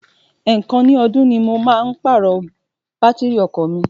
Èèkàn ní ọdún ni mo máa ń pàrọ̀ bátìrì ọkọ̀ mi.